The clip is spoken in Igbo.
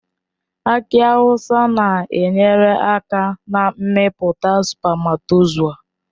Aki awụsa na-enyere aka na mmepụta spamatozua.